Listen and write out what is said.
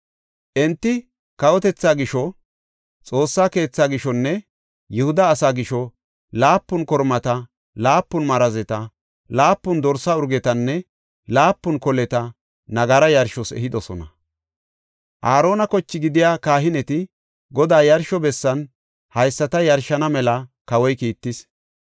Enti kawotethaa gisho, Xoossa keethaa gishonne Yihuda asaa gisho, laapun kormata, laapun marazeta, laapun dorsa urgetanne laapun koleta nagara yarshos ehidosona. Aarona koche gidiya kahineti, Godaa yarsho bessan haysata yarshana mela kawoy kiittis.